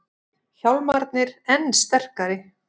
Hjálmarnir enn sterkari